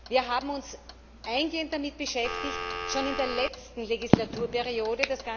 Wir haben uns eingehend damit beschäftigt schon in der letzten Legislaturperiode.